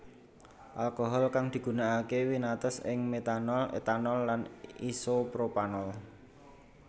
Alkohol kang digunakake winates ing metanol etanol lan isopropanol